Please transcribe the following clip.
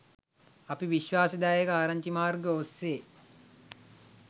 අපි විශ්වාසදායක ආරංචි මාර්ග ඔස්සේ